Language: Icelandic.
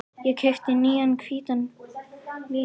Ég keypti nýjan hvítan flygil.